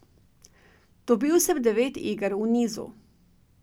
Dobil sem devet iger v nizu.